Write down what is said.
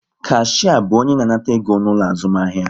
Kashia bu onye na-anata ego n'ulo azumahia